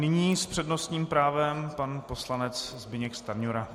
Nyní s přednostním právem pan poslanec Zbyněk Stanjura.